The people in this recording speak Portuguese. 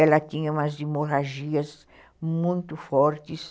Ela tinha umas hemorragias muito fortes.